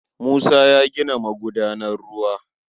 Musa yana gina magudanar ruwa.